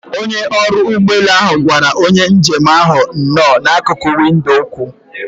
Onye ọrụ ụgbọelu ahụ gwara onye njem ahụ nno na akuku windo okwu.